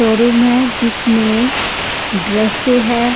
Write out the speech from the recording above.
Showroom है जिसमें dresses है।